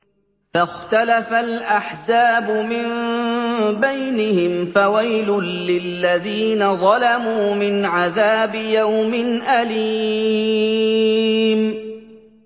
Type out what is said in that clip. فَاخْتَلَفَ الْأَحْزَابُ مِن بَيْنِهِمْ ۖ فَوَيْلٌ لِّلَّذِينَ ظَلَمُوا مِنْ عَذَابِ يَوْمٍ أَلِيمٍ